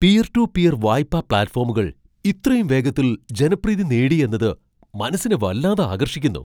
Peer to peer വായ്പാ പ്ലാറ്റ്ഫോമുകൾ ഇത്രയും വേഗത്തിൽ ജനപ്രീതി നേടി എന്നത് മനസ്സിനെ വല്ലാതെ ആകർഷിക്കുന്നു.